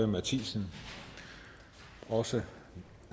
mathiesen også